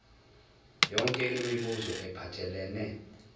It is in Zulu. yonke imibuzo ephathelene